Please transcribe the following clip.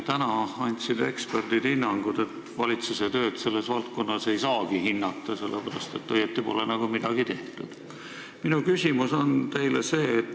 Nüüd andsid eksperdid hinnangu, et valitsuse tööd selles valdkonnas ei saagi hinnata, sellepärast et polegi nagu õieti midagi tehtud.